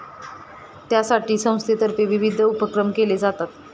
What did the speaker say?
त्यासाठी संस्थेतर्फे विविध उपक्रम केले जातात.